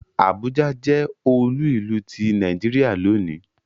Àbújá jẹ́ olú ìlú ti Nàìjíríà lónìí